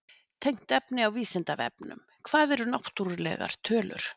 Tengt efni á Vísindavefnum: Hvað eru náttúrlegar tölur?